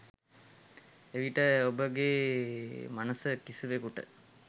එවිට ඔබගේ මනස කිසිවෙකුට